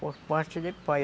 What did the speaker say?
Por parte de pai.